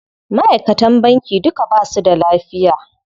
Maʼaikatan banki duka basu da lafiya.